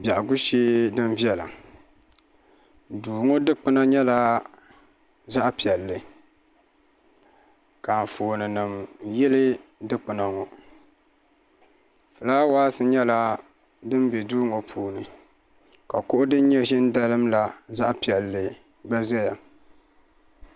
biɛhigu shee din viɛla duu ŋɔ dikpuna nyɛla zaɣ' piɛlli ka anfoonima yili dikpuna ŋɔ fulaawsinima nyɛla din be duu ŋɔ puuni ka kuɣu din nyɛ ʒini n-dalim la zaɣ' piɛlli gba zaya